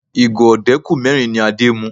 Ìgò ọdẹ́kù mẹ́rin ni Adé mu